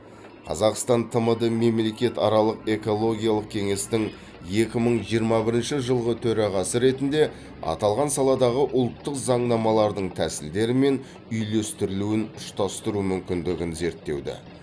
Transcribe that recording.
қазақстан тмд мемлекетаралық экологиялық кеңестің екі мың жиырма бірінші жылғы төрағасы ретінде аталған саладағы ұлттық заңнамалардың тәсілдері мен үйлестірілуін ұштастыру мүмкіндігін зерттеуді